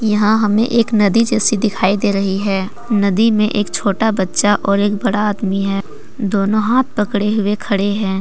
यहां हमें एक नदी जैसी दिखाई दे रही है नदी में छोटा बच्चा और एक बड़ा आदमी है दोनो हाथ पकड़े हुए खड़े हैं।